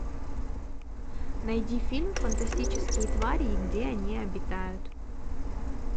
найди фильм фантастические твари и где они обитают